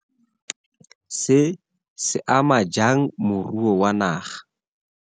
Se, se ama jang moruo wa naga.